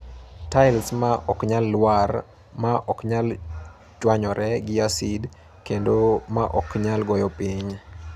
Tiles ma ok nyal lwar, ma ok nyal chwanyore gi acid, kendo ma ok nyal goyo piny.